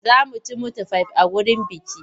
Za mu ci mitifai a wurin bukih.